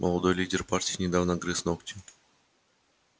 молодой лидер партии недавно грыз ногти